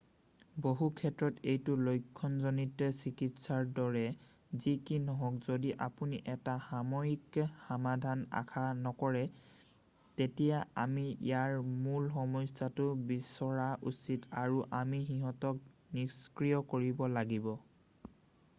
বহু ক্ষেত্ৰত এইটো লক্ষ্যণজনিত চিকিৎসাৰ দৰে যি কি নহওক যদি আপুনি এটা সাময়িক সমাধান আশা নকৰে তেতিয়া আমি ইয়াৰ মূল সমস্যাটো বিচৰা উচিত আৰু আমি সিঁহতক নিষ্ক্ৰিয় কৰিব লাগিব